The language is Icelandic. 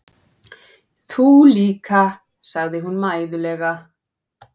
Þú líka, segir hún mæðulega.